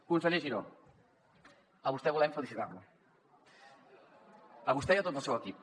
conseller giró a vostè volem felicitar lo a vostè i a tot el seu equip